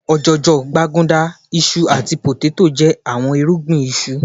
òjòjò, gbaguda, iṣu ati poteto jẹ awọn irugbin isu